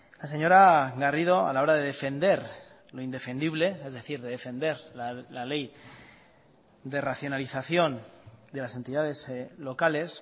la señora garrido a la hora de defender lo indefendible es decir de defender la ley de racionalización de las entidades locales